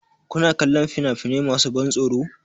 Kuna kallon fina-finai masu ban tsoro?